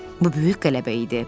Bu böyük qələbə idi.